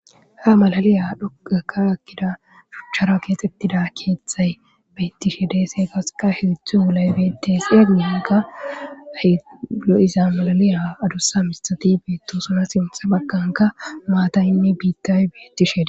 Ha malaliya dhoqqakka ekkida shuchchara keexeththida keeththay beeththishe de7es;hegasika sinththa wolay beeththees;a guyenkka lo7iza maliliya adussa miththathi beeththooson;sinththa baggankka maathaynne biiththay beeththishe des.